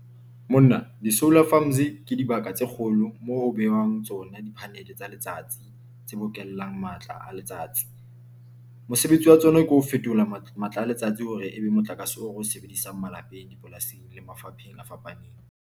Monna di-solar farms ke dibaka tse kgolo moo ho behwang tsona di-panel tsa letsatsi tse bokellang matla a letsatsi. Mosebetsi wa tsona ke ho fetola matla a letsatsi hore ebe motlakase oo re o sebedisang malapeng, dipolasing le mafapheng a fapaneng.